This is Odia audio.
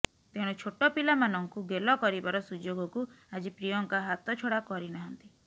ତେଣୁ ଛୋଟ ପିଲାମାନଙ୍କୁ ଗେଲ କରିବାର ସୁଯୋଗକୁ ଆଜି ପ୍ରିୟଙ୍କା ହାତଛଡ଼ା କରିନାହାନ୍ତି